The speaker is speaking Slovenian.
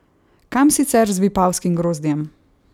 Kam sicer z vipavskim grozdjem?